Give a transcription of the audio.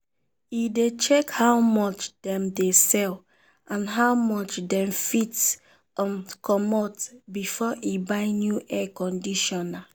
e dey check how much dem dey sell and how much dem fit um comot before e buy new air conditioner.